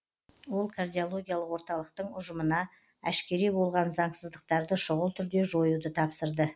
ол кардиологиялық орталықтың ұжымына әшкере болған заңсыздықтарды шұғыл түрде жоюды тапсырды